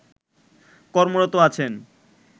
কর্মরত আছেন